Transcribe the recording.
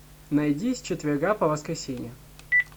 найди с четверга по воскресенье